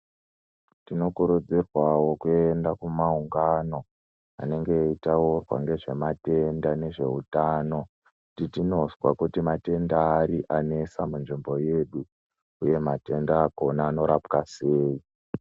Tinokurudzirwawo kuenda kumaungano anenge aitaurwa ngezvematenda nezveutano kuti ndinonzwa matenda ari anetsa munzvimbo yedu uye matenda akona anorapwa seii.